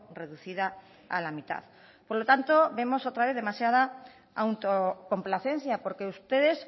reducida a la mitad por lo tanto vemos otra vez demasiada autocomplacencia porque ustedes